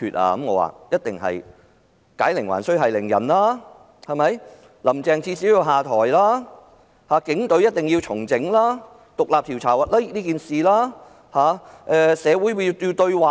我的答覆是："解鈴還須繫鈴人，至少'林鄭'要下台，警隊一定要重整，就事件進行獨立調查，以及進行社會對話"。